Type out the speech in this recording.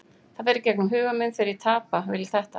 Það fer í gegnum huga minn þegar ég tapa, vil ég þetta?